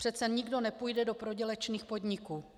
Přece nikdo nepůjde do prodělečných podniků.